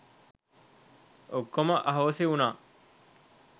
ඔක්කොම අහෝසි වුනා.